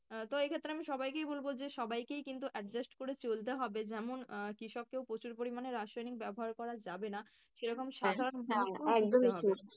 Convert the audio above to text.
তো এই ক্ষেত্রে আমি সবাইকেই বলব যে সবাইকেই কিন্তু adjust করে চলতে হবে, যেমন আহ কৃষককেও প্রচুর পরিমাণে রাসায়নিক ব্যাবহার করা যাবেনা সেরকম